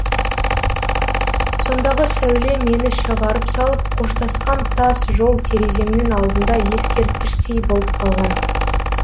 сондағы сәуле мені шығарып салып қоштасқан тас жол тереземнің алдында ескерткіштей болып қалған